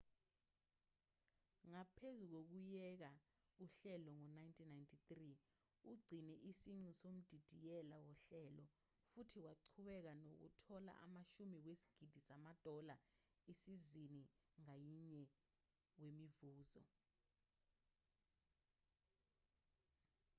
ngaphezu kokuyeka uhlelo ngo-1993 ugcine isiqu somdidiyeli wohlelo futhi waqhubeka nokuthola amashumi wezigidi zamadola isizini ngayinye wemivuzo